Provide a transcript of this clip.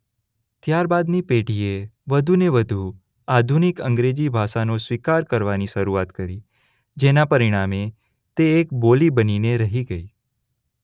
ત્યારબાદની પેઢીએ વધુને વધુ આધુનિક અંગ્રેજી ભાષાનો સ્વીકાર કરવાની શરૂઆત કરી જેના પરિણામે તે એક બોલી બનીને રહી ગઇ.